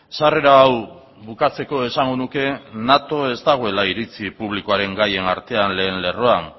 sarrera hau bukatzeko esango nuke nato ez dagoela iritzi publikoaren gaien artean lehen lerroan